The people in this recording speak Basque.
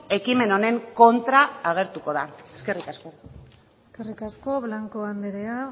ekimen honen kontra agertuko da eskerrik asko eskerrik asko blanco andrea